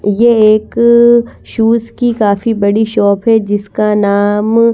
ये एक शूज़ की काफी बड़ी शॉप है जिसका नाम --